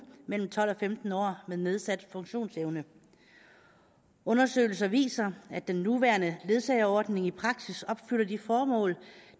mellem tolv og femten år med nedsat funktionsevne undersøgelser viser at den nuværende ledsageordning i praksis opfylder de formål